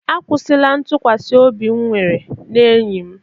A kwụsịla ntụkwasị obi m nwere na enyi m.